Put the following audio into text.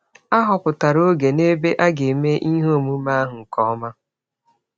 A họpụtara ọge na ebe a ga - eme ihe ọmụme ahụ nke ọma.